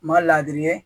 Ma ladiri ye